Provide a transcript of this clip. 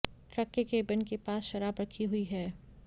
truck के cabin के पास शराब रखी हुई है